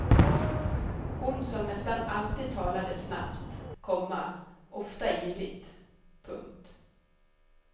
Hon som nästan alltid talade snabbt, komma ofta ivrigt. punkt